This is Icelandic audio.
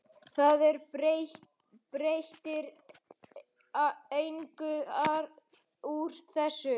Það er breytir engu úr þessu.